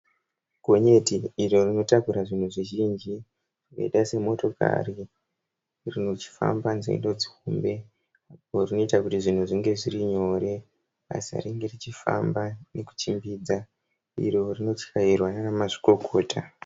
Gonyeti iro rinotakura zvinhu zvizhinji zvakaita semotokari richifamba nzendo dzihombe rinoita kuti zvinhu zvinge zviri nyore basa ringe richifamba nekuchimbidza iro rinotyairwa naana mazvikokota.